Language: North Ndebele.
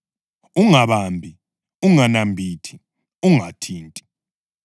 “Ungabambi! Unganambithi! Ungathinti!”?